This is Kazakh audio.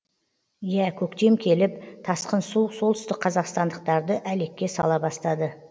иә көктем келіп тасқын су солтүстікқазақстандықтарды әлекке сала бастады